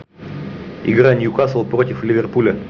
игра ньюкасл против ливерпуля